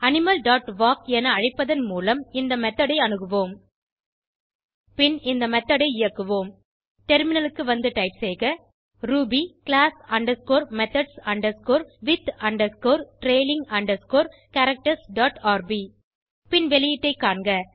animal dot walk என அழைப்பதன் மூலம் இந்த மெத்தோட் ஐ அணுகுவோம் பின் இந்த மெத்தோட் ஐ இயக்குவோம் டெர்மினலுக்கு வந்து டைப் செய்க ruby class underscore methods underscore with underscore trailing underscore characters dot RB பின் வெளியீட்டை காண்க